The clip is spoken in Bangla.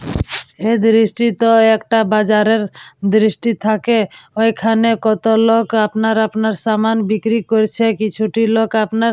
এ দৃষ্টি তো একটা বাজারের দৃষ্টি থাকে। ঐখানে কত লোক আপনার আপনার সামান বিক্রি করেছে কিছুটি লোক আপনার--